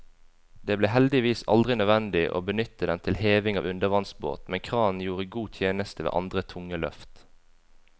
Det ble heldigvis aldri nødvendig å benytte den til heving av undervannsbåt, men kranen gjorde god tjeneste ved andre tunge løft.